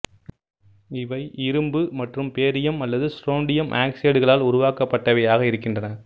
இவை இரும்பு மற்றும் பேரியம் அல்லது ஸ்ட்ரோண்டியம் ஆக்ஸைடுகளால் உருவாக்கப்பட்டவையாக இருக்கின்றன